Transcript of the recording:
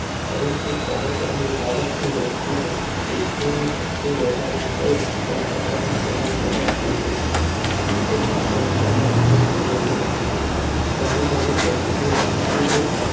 પરંતુ કાળક્રમે ભારત ની વસ્તી માં કૂદકે ને ભૂસકે વધારો થયો ત્યાં કચરા ની સમસ્યા વધતી ગઈ લોકો પણ સ્વચ્છતા ના મૂલ્યો સમજ્યા નહિ નવી નવી ફેક્ટરીઓં ખુલતી ગઈ